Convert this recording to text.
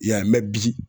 I y'a ye mɛ bi